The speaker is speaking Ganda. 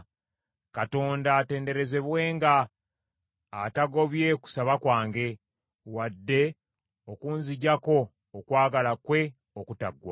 Katonda atenderezebwenga, atagobye kusaba kwange, wadde okunziggyako okwagala kwe okutaggwaawo!